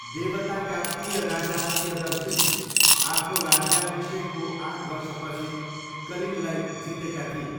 देवताका प्रिय राजा प्रियदर्शीले आफ्नो राज्याभिषेकको आठ वर्षपछि कलिङ्गलाई जितेका थिए।